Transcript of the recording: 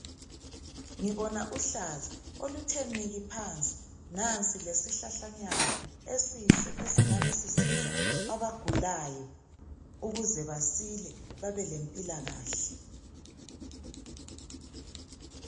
Ngibona uhlaza oluthe niki phansi nansi lesihlahlanyana esihle esingabesisiza abagulayo ukuze basile babelempilakahle.